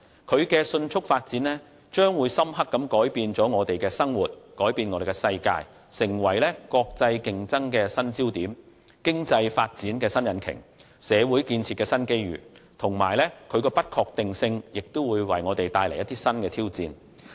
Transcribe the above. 這高速發展將會深刻改變我們的生活和世界，成為國際競爭的新焦點，經濟發展的新引擎及社會建設的新機遇，而其不確定性則會為我們帶來新挑戰。